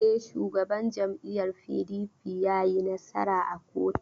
E, Shugaban jam'iyyar PDP ya yi nasara a koto.